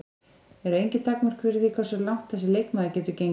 Eru engin takmörk fyrir því hversu langt þessi leikmaður getur gengið?